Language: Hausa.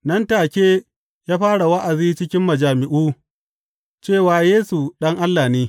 Nan take ya fara wa’azi cikin majami’u cewa Yesu Ɗan Allah ne.